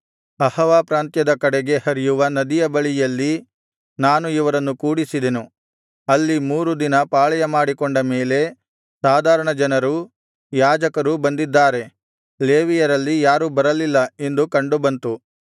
ಅಹವಾ ಪ್ರಾಂತ್ಯದ ಕಡೆಗೆ ಹರಿಯುವ ನದಿಯ ಬಳಿಯಲ್ಲಿ ನಾನು ಇವರನ್ನು ಕೂಡಿಸಿದೆನು ಅಲ್ಲಿ ಮೂರು ದಿನ ಪಾಳೆಯಮಾಡಿಕೂಂಡ ಮೇಲೆ ಸಾಧಾರಣ ಜನರೂ ಯಾಜಕರೂ ಬಂದಿದ್ದಾರೆ ಲೇವಿಯರಲ್ಲಿ ಯಾರೂ ಬರಲಿಲ್ಲ ಎಂದು ಕಂಡುಬಂತು